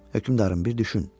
Hökmdarım, bir düşün.